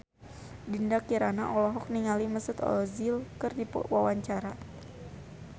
Dinda Kirana olohok ningali Mesut Ozil keur diwawancara